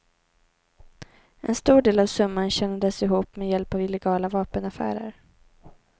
En stor del av summan tjänades ihop med hjälp av illegala vapenaffärer.